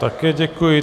Také děkuji.